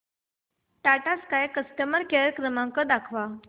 Tata sky customer care क्रमांक दाखवा